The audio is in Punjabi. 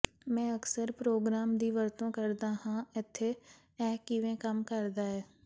ਮੈਂ ਅਕਸਰ ਪ੍ਰੋਗ੍ਰਾਮ ਦੀ ਵਰਤੋਂ ਕਰਦਾ ਹਾਂ ਇੱਥੇ ਇਹ ਕਿਵੇਂ ਕੰਮ ਕਰਦਾ ਹੈ